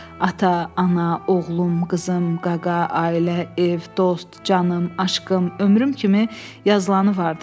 Ata, ana, oğlum, qızım, qaqa, ailə, ev, dost, canım, aşqım, ömrüm kimi yazılanı vardı.